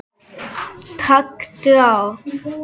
Taktu á!